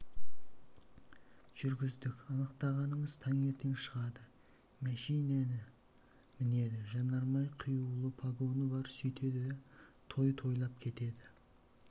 жүргіздік анықтағанымыз таңертең шығады мәшинені мінеді жанармай құюлы погоны бар сөйтеді да той тойлап кетеді